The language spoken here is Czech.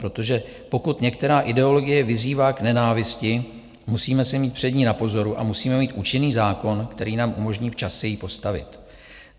Protože pokud některá ideologie vyzývá k nenávisti, musíme se mít před ní na pozoru a musíme mít účinný zákon, který nám umožní včas se jí postavit.